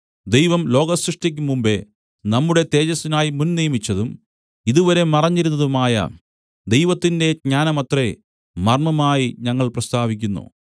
ദൈവം ലോകസൃഷ്ടിക്ക് മുമ്പെ നമ്മുടെ തേജസ്സിനായി മുന്നിയമിച്ചതും ഇതുവരെ മറഞ്ഞിരുന്നതുമായ ദൈവത്തിന്റെ ജ്ഞാനമത്രേ മർമ്മമായി ഞങ്ങൾ പ്രസ്താവിക്കുന്നു